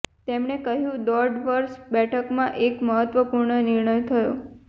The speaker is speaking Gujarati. તેમણે કહ્યું દોઢ વર્ષ બેઠકમાં એક મહત્વપૂર્ણ નિર્ણય થયો